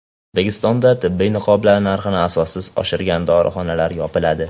O‘zbekistonda tibbiy niqoblar narxini asossiz oshirgan dorixonalar yopiladi.